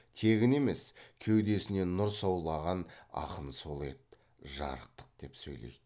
тегін емес кеудесінен нұр саулаған ақын сол еді жарықтық деп сөйлейді